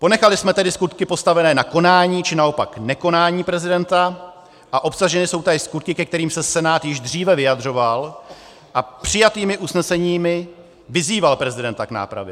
Ponechali jsme tedy skutky postavené na konání, či naopak nekonání prezidenta a obsažené jsou též skutky, ke kterým se Senát již dříve vyjadřoval a přijatými usneseními vyzýval prezidenta k nápravě.